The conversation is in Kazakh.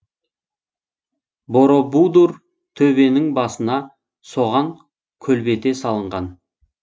боробудур төбенің басына соған көлбете салынған